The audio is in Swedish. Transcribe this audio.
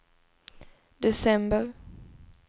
december